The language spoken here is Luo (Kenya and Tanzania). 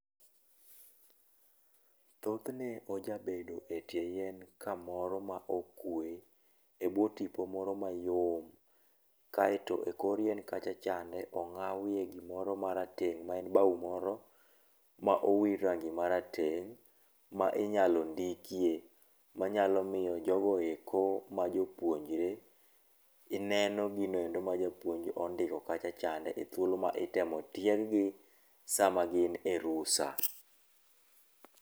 Thothne ojabedo etie yien kamoro ma okue, ebwo tipo moro mayom. Kaeto ekor yien kacha chande ong'awie gimoro marateng' ma en bao moro ma owir rangi marateng' ma inyalo ndikie, manyalo miyo jogo eko majopuonjre gi neno gino endo ma japuonj ondiko kacha chande e thuolo ma itemo tieg gi sama gin e rusa.